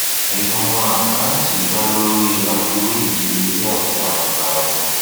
ìpinnu àkántì da lori afiwe ìdíyelé àti ànfààní